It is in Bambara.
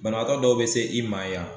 Banabaatɔ dɔw bɛ se i ma yan